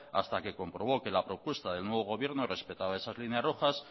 hasta que comprobó que la propuesta del nuevo gobierno respetaba esas líneas rojas